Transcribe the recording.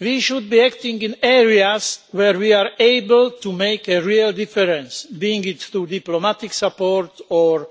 We should be acting in areas where we are able to make a real difference, be it through diplomatic support or